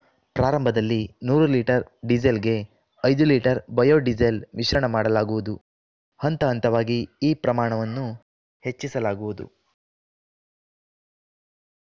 ಪ್ರಾರಂಭದಲ್ಲಿ ನೂರು ಲೀಟರ್‌ ಡೀಸೆಲ್‌ಗೆ ಐದು ಲೀಟರ್‌ ಬಯೋಡೀಸೆಲ್‌ ಮಿಶ್ರಣ ಮಾಡಲಾಗುವುದು ಹಂತ ಹಂತವಾಗಿ ಈ ಪ್ರಮಾಣವನ್ನು ಹೆಚ್ಚಿಸಲಾಗುವುದು